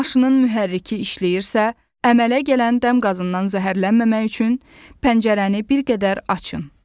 Maşının mühərriki işləyirsə, əmələ gələn dəm qazından zəhərlənməmək üçün pəncərəni bir qədər açın.